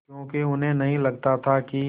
क्योंकि उन्हें नहीं लगता था कि